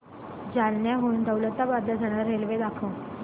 जालन्याहून दौलताबाद ला जाणारी रेल्वे दाखव